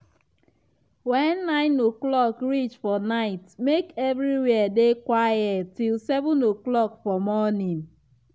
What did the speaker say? wen 9 o'clock reach for night make everywhere dey quiet till 7 o'clock for morning.